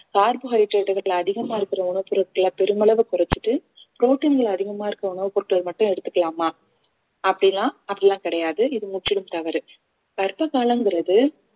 carbohydrate கள் அதிகமா இருக்கிற உணவுப் பொருட்கள பெருமளவு குறைச்சிட்டு protein களை அதிகமா இருக்க உணவுப் பொருட்கள் மட்டும் எடுத்துக்கலாமா அப்படிலாம் அப்படி எல்லாம் கிடையாது இது முற்றிலும் தவறு கர்ப்ப காலம்ங்கிறது